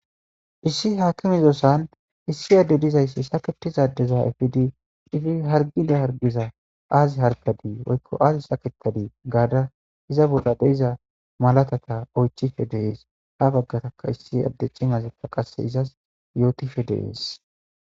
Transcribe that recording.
Issi haakimizosan issi adde dizayssi saketizadeza efidi ifi hargida hargiza aazi harkadii woykko aazi saketadii gaada iza bolla deiza malatata oychife deees ha baggataka issi adde cimazi pa qase izas yootife deees.